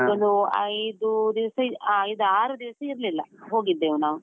ಅಲ್ಲೊಂದು ಐದು ದಿವ್ಸ, ಐದಾರು ದಿವ್ಸ ಇರ್ಲಿಲ್ಲಾ ಹೋಗಿದ್ದೆವು ನಾವು.